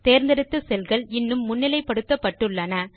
தேர்ந்தெடுத்த செல்கள் இன்னும் முன்னிலைப்படுத்தப்பட்டுளன